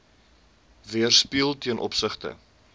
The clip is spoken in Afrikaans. weerspieël ten opsigte